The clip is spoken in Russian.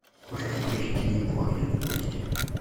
можешь включить винни пух идет в гости